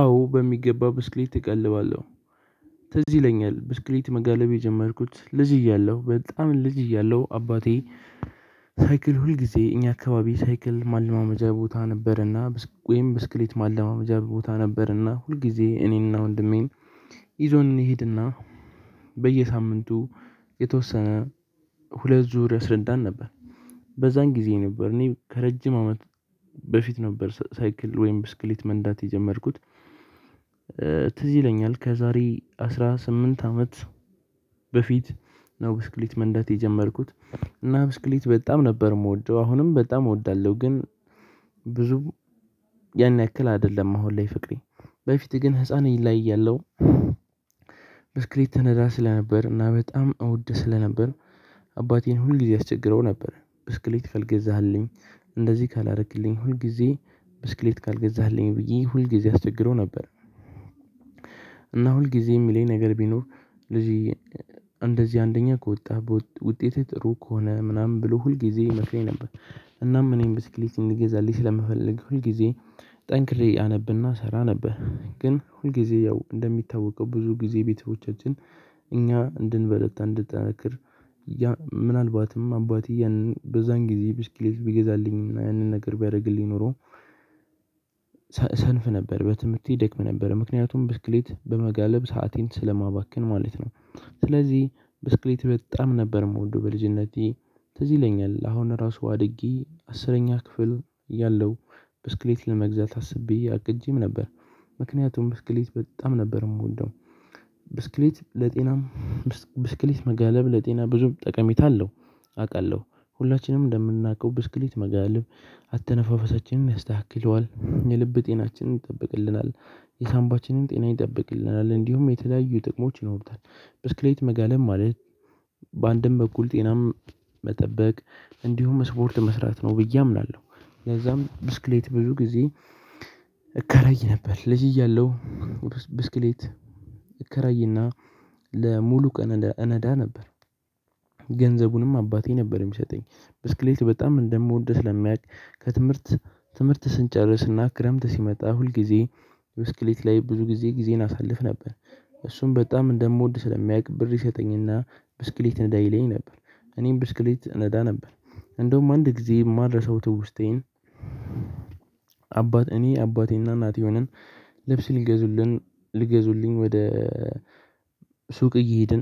አዎ በሚገባ ብስክሌት እቀልባለሁ። ትዝ ይለኛል ብስክሌት መጋለብ የጀመርኩት ልጅ እያለሁ በጣም ልጅ እያለሁ አባቴ ሳይክል ሁል ጊዜ እኛ አካባቢ ሳይክል ማለማመጃ ቦታ ነበር። እና ወይም ብስክሌት ማለማመጃ ቦታ ነበር እና ሁልጊዜ እኔ እና ወንድሜን ይዞን እንሂድና በየሳምንቱ የተወሰነ ሁለት ዙር ያስረዳን ነበር። በዛን ጊዜ ነበር እኔ ከረጅም አመት በፊት ነበር። ሳይክል ወይም ብስክሌት መንዳት የጀመርኩት። ትዝ ይለኛል ከዛሬ አስራ ስምንት አመት በፊት ነው። ብስክሌት መንዳት የጀመርኩት እና ብስክሌት በጣም ነበር የምወደው አሁንም በጣም እወዳለሁ። ግን ብዙ ያን ያክል አይደለም። አሁን ላይ ፍቅሬ በፊት ግን ህፃን ላይ እያለሁ ያለው ብስክሌት እነዳ ስለነበር እና በጣም እወድ ስለነበር። አባቴን ሁል ጊዜ አስቸግረው ነበር ብስክሌት ካልገዛህልኝ እንደዚህ ካላረክልኝ ሁል ጊዜ ብስክሌት ካልገዛህልኝ ብዬ ሁልጊዜ አስቸግረው ነበር። እና ሁልጊዜ የሚለኝ ነገር ቢኖር ስለዚህ እንደዚህ አንደኛ ከወጣህ ውጤትህ ጥሩ ከሆነ ምናምን ብሎ ሁልጊዜ ይመክረኝ ነበር። እናም እኔም ብስክሌት እንድገዛለንጠኝ ስለምፈልግ ሁል ጊዜ ጠንክሬ አነብና ሰራ ነበር። ግን ሁል ጊዜ ያው እንደሚታወቀው ብዙ ጊዜ ቤተሰቦቻችን እኛ እንድንበረታ እንድንጠነክር ምናልባትም አባቴ ያንን በዛን ጊዜ ብስክሌት ቢገዛልኝ እና ያንን ነገር ቢያደርግልኝ ኖሮ ሰንፍ ነበር በትምህርቴ ደክም ነበር ምክንያቱም ብስክሌት በመጋለብ ሰአቴን ስለማባክን ማለት ነው። ስለዚህ ብስክሌት በጣም ነበር ምወደው በልጅነቴ ትዝ ይለኛል። አሁን ራሱ አድጌ አስረኛ ክፍል እያለው ብስክሌት ለመግዛት አስቤ አቅጄም ነበር። ምክንያቱም ብስክሌት በጣም ነበር ምወደው። ብስክሌት ለጤናም ብስክሌት መጋለብ ለጤና ብዙም ጠቀሜታ አለው። ሁላችንም እንደምናውቀው ብስክሌት መጋለብ አተነፋፈሳችንን ያስተካክለዋል የልብ ጤናችንን ይጠብቅልናል የሳንባችንን ጤና ይጠብቅልናል እንዲሁም የተለያዩ ጥቅሞች ይኖሩታል። ብስክሌት መጋለብ ማለት በአንድም በኩል ጤናም መጠበቅ እንዲሁም ስፖርት መስራት ነው ብዬ አምናለሁ። ለዛም ብስክሌት ብዙ ጊዜ እከራይ ነበር ልጅ እያለሁ ብስክሌት እከራይና ለሙሉ ቀን እነዳ ነበር። ገንዘቡንም አባቴ ነበር ሚሰጠኝ ብስክሌት በጣም እንደምወድ ስለሚያውቅ ከትምህርት ትምህርት ስንጨርስና ክረምት ሲመጣ ሁልጊዜ ብስክሌት ላይ ብዙ ጊዜ ጊዜን አሳልፍ ነበር። እሱም በጣም እንደምወድ ስለሚያውቅ ብር ይሰጠኝና ብስክሌት ንዳ ይለኝ ነበር። እኔም ብስክሌት ነዳ ነበር። እንደውም አንድ ጊዜ ማልረሳው ትውስታዬን አባት እኔ አባቴና እናቴ ሆነን ልብስ ሊገዙልን ሊገዙልኝ ወደ ሱቅ እየሄድን